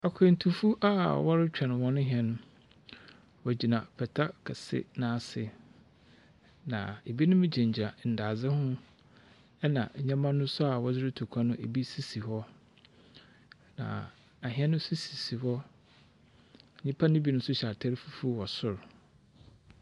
Akwantufo a wɔrotweɔn hɔn hɛn, na nwogyina pata kɛse bi ase, na binom gyinagyina ndadze ho na ndzɛmba no so wɔdze rutu kwan no, bi sisi hɔ. na ahɛn sisi, nyimpa binom so hyɛ atar fufuw wɔ sor.